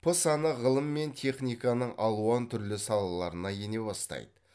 п саны ғылым мен техниканың алуан түрлі салаларына ене бастайды